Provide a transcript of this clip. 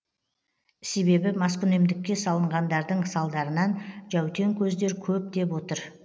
себебі маскүнемдікке салынғандардың салдарынан жәутең көздер көп деп отыр